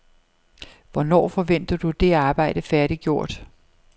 Hvornår forventer du det arbejde færdiggjort?